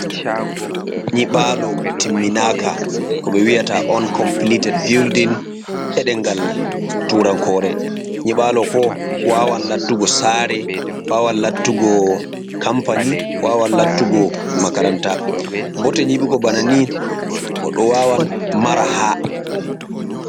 Nyiɓaalo timminaaka, ko ɓe wiyata on compiliitet bildin, e ɗemngal tuurankoore, nyiɓaalo ɗo waawan lattugo saare, waawan laattugo kampani, waawan lattugo makaranta, bote nyiɓugo bana ni goɗɗo waawan mara haa.